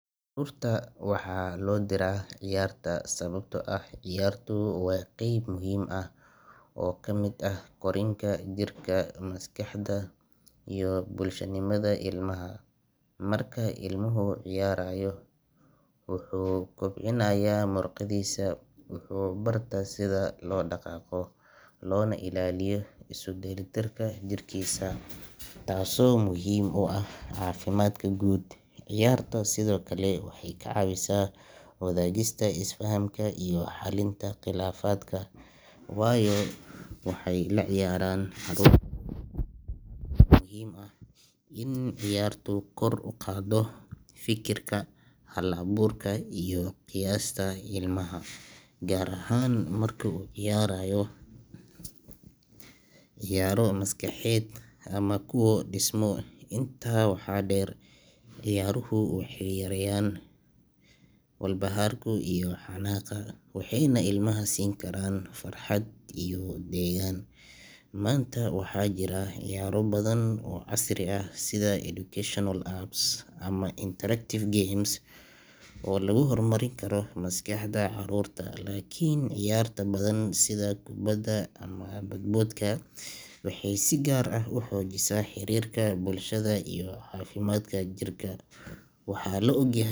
Caruurta waxaa loo diraa ciyaarta sababtoo ah ciyaartu waa qayb muhiim ah oo ka mid ah korriinka jirka, maskaxda iyo bulshanimada ilmaha. Marka ilmuhu ciyaarayo, wuxuu kobcinayaa muruqyadiisa, wuxuu bartaa sida loo dhaqaaqo, loona ilaaliyo isu dheelitirka jirkiisa, taasoo muhiim u ah caafimaadka guud. Ciyaartu sidoo kale waxay ka caawisaa caruurta inay bartaan xirfadaha bulshada sida wadaagista, isfahanka iyo xallinta khilaafaadka, waayo waxay la ciyaarayaan caruur kale. Waxaa kaloo muhiim ah in ciyaartu kor u qaaddo fikirka hal-abuurka iyo qiyaasta ilmaha, gaar ahaan marka uu ciyaarayo ciyaaro maskaxeed ama kuwa dhismo. Intaa waxaa dheer, ciyaaruhu waxay yarayn karaan walbahaarka iyo xanaaqa, waxayna ilmaha siin karaan farxad iyo deganaan. Maanta waxaa jira ciyaaro badan oo casri ah sida educational apps ama interactive games oo lagu hormarin karo maskaxda caruurta. Laakiin ciyaarta banaanka, sida kubadda ama boodboodka, waxay si gaar ah u xoojisaa xiriirka bulshada iyo caafimaadka jirka. Waxaa la og